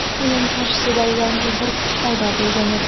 Uning qarshisida yangi bir kuch paydo bo‘lgan edi.